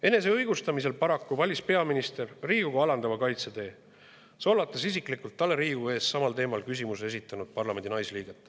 Eneseõigustamisel valis peaminister Riigikogu alandava kaitsetee, solvates Riigikogu ees isiklikult parlamendi naisliiget, kes oli talle samal teemal küsimuse esitanud.